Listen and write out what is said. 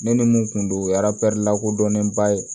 Ne ni mun kun don o ye lakodɔnnenba ye